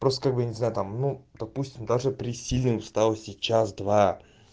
просто бы нельзя там ну допустим даже при сильном встала сейчас два